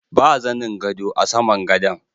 Ba zanin gado a saman gadon.